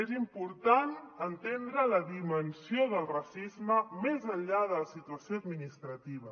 és important entendre la dimensió del racisme més enllà de la situació administrativa